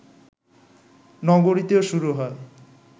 নগরীতেও শুরু হয়